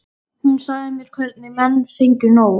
Hún sagði mér hvernig menn fengju nóg.